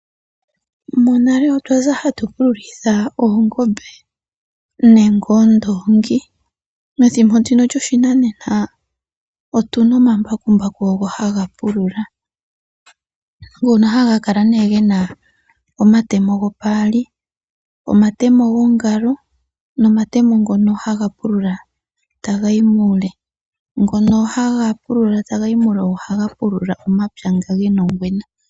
Monale otwaza hatu pululitha oongombe nenge oondongi, methimbo ndino lyoshinanena otuna omambakumbaku ogo hangapulula ngono hangakala ne ngena omatemo gopali omatemo gongalo nomatemo ngono hangapulula tangayi muule, ngono hangapulula tangayi muule ogo hangapulula omapya nga ngena ongwena.